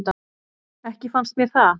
Ekki fannst mér það.